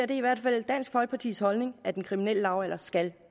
i hvert fald dansk folkepartis holdning at den kriminelle lavalder skal